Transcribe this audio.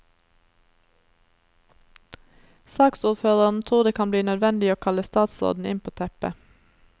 Saksordføreren tror det kan bli nødvendig å kalle statsråden inn på teppet.